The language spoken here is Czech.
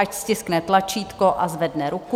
Ať stiskne tlačítko a zvedne ruku.